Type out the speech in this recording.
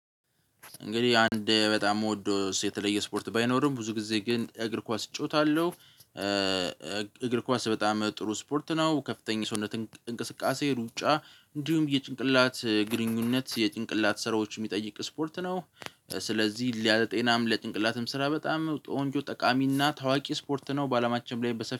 እንግዲህ አንድ በጣም መውደድ የተለየ ስፖርት ባይኖርም ብዙ ጊዜ ግን እግር ኳስ እጫወታለሁ። እግር ኳስ በጣም ጥሩ ስፖርት ነው ከፍተኛ ሰውነት እንቅስቃሴ ሩጫ እንዲሁም የጭንቅላት ግንኙነት የጭንቅላት ስራዎች የሚጠይቅ ስፖርት ነው። ስለዚህ ለጤናም ለጭንቅላትም ስራ በጣም ቆንጆ ጠቃሚና ታዋቂ ስፖርት ነው። በአላማችንም ላይ በሰፊው